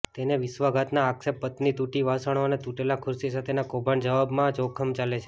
તેને વિશ્વાસઘાતના આક્ષેપ પત્ની તૂટી વાસણો અને તૂટેલા ખુરશી સાથેનો કૌભાંડ જવાબમાં જોખમ ચાલે છે